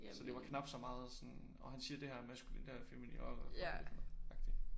Så det var knap så meget sådan åh han siger det her er maskulint det her er feminint åh hvad fuck er det for noget agtig